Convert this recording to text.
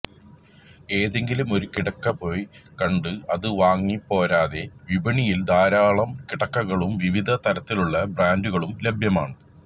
ഏതെങ്കിലും ഒരു കിടക്ക പോയി കണ്ട് അത് വാങ്ങിപ്പോരാതെ വിപണിയില് ധാരാളം കിടക്കകളും വിവിധ തരത്തിലുള്ള ബ്രാന്റുകളും ലഭ്യമാണ്